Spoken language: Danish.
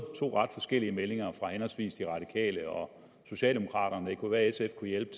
to ret forskellige meldinger fra henholdsvis de radikale og socialdemokraterne det kunne være at sf kunne hjælpe